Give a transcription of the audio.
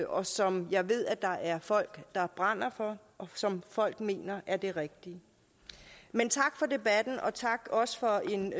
og som jeg ved at der er folk der brænder for og som folk mener er det rigtige men tak for debatten og tak også for en